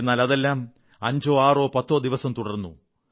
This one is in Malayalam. എന്നാൽ അതെല്ലാം അഞ്ചോ ആറോ പത്തോ ദിവസം തുടർന്നു